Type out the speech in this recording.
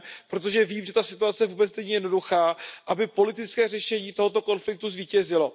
Protože vím, že ta situace vůbec není jednoduchá, aby politické řešení tohoto konfliktu zvítězilo.